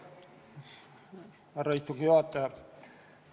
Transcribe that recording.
Härra istungi juhataja!